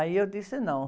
Aí eu disse não.